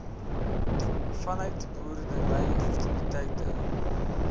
vanuit boerdery aktiwiteite